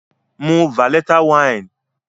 Mu veleta wine.